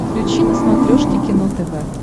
включи на смотрешке кино тв